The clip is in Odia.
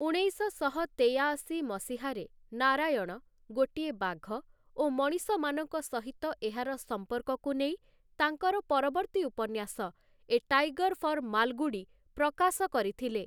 ଉଣେଇଶଶହ ତେୟାଅଶୀ ମସିହାରେ ନାରାୟଣ, ଗୋଟିଏ ବାଘ ଓ ମଣିଷମାନଙ୍କ ସହିତ ଏହାର ସମ୍ପର୍କକୁ ନେଇ, ତାଙ୍କର ପରବର୍ତ୍ତୀ ଉପନ୍ୟାସ 'ଏ ଟାଇଗର୍‌ ଫର୍‌ ମାଲଗୁଡ଼ି' ପ୍ରକାଶ କରିଥିଲେ ।